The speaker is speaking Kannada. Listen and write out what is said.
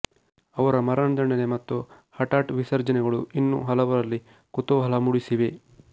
ಅವರ ಮರಣದಂಡನೆ ಮತ್ತು ಹಠಾಟ್ ವಿಸರ್ಜನೆಗಳು ಇನ್ನೂ ಹಲವರಲ್ಲಿ ಕುತೂಹಲ ಮೂಡಿಸಿವೆ